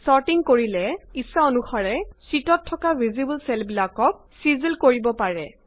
sorting কৰি্লে শিটত থকা ভিজিবল চেল বিলাকক ইচ্ছা অনুসাৰে এৰেঞ্জ কৰিব পাৰে